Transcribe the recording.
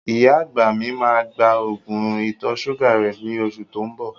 Ìyá àgbà mi máa gba Ògùn ìtọ̀-ṣúgà rẹ ní oṣù tó ń bọ